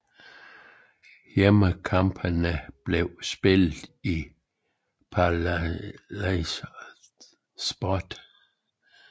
Hjemmekampene bliver spillet i Palais des Sport